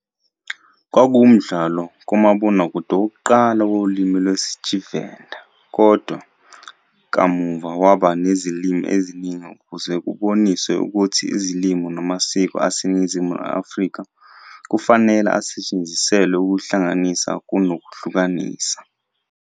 Kwakuwumdlalo kamabonakude wokuqala wolimi lwesiTshivenda kodwa kamuva waba ngezilimi eziningi ukuze kuboniswe ukuthi izilimi namasiko aseNingizimu Afrika kufanele asetshenziselwe ukuhlanganisa kunokuhlukanisa.